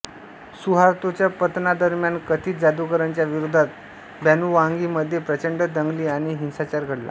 सुहार्तोच्या पतना दरम्यान कथित जादूगारांच्या विरोधात बॅनुवांगी मध्ये प्रचंड दंगली आणि हिंसाचार घडला